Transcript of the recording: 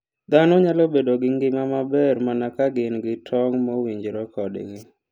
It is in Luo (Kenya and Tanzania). Dhano nyalo bedo gi ngima maber mana ka gin gi tong' mowinjore kodgi.